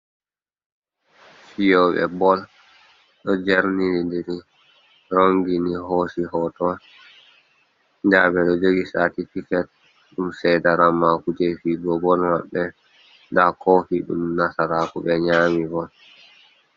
Fiyoɓe bol ɗo jerniri diri rongini hosi hoto nda ɓeɗo jogi satifiket ɗum ceda ramaku je fiyugo bol maɓɓe nda kofi ɗum nasaraku ɓe nyami bol.